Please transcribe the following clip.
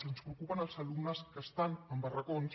i ens preocupen els alumnes que estan en barracons